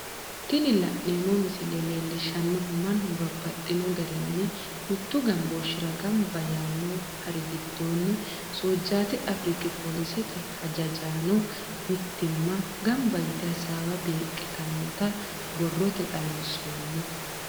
Tini la'neemo misile leellishanohu mannu babaxxino garinni mitu gambooshira gamba yaano hari gidoonni soojati afirikki pollisete hajajanno mitimma gamba yite hasawa beeqitamotta borrote xawinsoonni